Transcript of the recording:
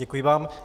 Děkuji vám.